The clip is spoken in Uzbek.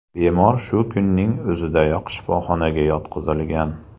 Bemor shu kunning o‘zidayoq shifoxonaga yotqizilgan.